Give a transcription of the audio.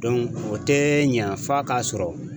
o tɛ ɲɛ f'a k'a sɔrɔ